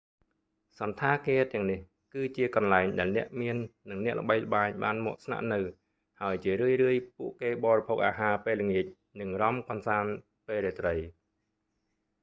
សណ្ឋាគារទាំងនេះ គឺជាកន្លែងដែលអ្នកមាន និងអ្នកល្បីល្បាញបានមកស្នាក់នៅ ហើយជារឿយៗពួកគេបរិភោគអាហារពេលល្ងាច និងរាំកម្សាន្តពេលរាត្រី